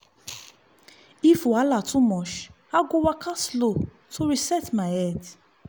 if wahala too much i go waka slow to reset my head.